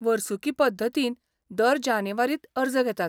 वर्सुकी पद्दतीन दर जानेवारींत अर्ज घेतात .